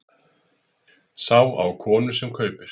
Sá á konu sem kaupir.